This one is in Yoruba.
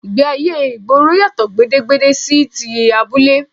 Ìgbéayé ìgboro yàtọ̀ gedegbe sí ti abúlé